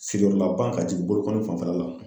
Sigiyɔrɔla ka jigin bolokɔni fanfɛla la